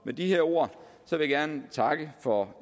med disse ord vil jeg gerne takke for